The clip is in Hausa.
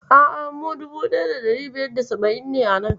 A'a, mu 1570 ne a nan.